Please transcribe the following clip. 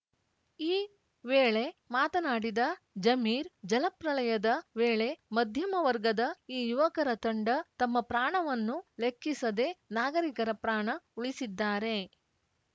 ಈ ವೇಳೆ ಮಾತನಾಡಿದ ಜಮೀರ್‌ ಜಲಪ್ರಳಯದ ವೇಳೆ ಮಧ್ಯಮ ವರ್ಗದ ಈ ಯುವಕರ ತಂಡ ತಮ್ಮ ಪ್ರಾಣವನ್ನು ಲೆಕ್ಕಿಸದೆ ನಾಗರಿಕರ ಪ್ರಾಣ ಉಳಿಸಿದ್ದಾರೆ